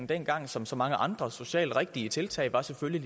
dengang som så mange andre socialt rigtige tiltag var selvfølgelig